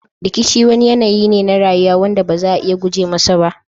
Rikici wani yanayi ne na rayuwa. wanda ba za a iya guje masa ba